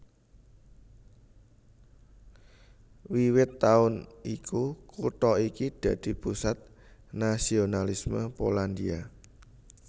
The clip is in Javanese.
Wiwit taun iku kutha iki dadi pusat nasionalisme Polandia